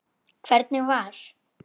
Hvernig var?